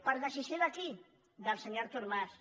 per decisió de qui del senyor artur mas